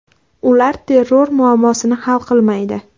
Ular terror muammosini hal qilmaydi.